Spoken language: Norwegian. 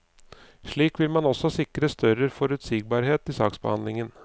Slik vil man også sikre større forutsigbarhet i saksbehandlingen.